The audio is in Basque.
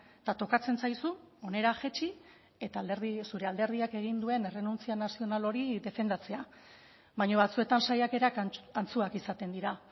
eta tokatzen zaizu hona jaitsi eta alderdi zure alderdiak egin duen errenuntzia nazional hori defendatzea baina batzuetan saiakera antzuak izaten dira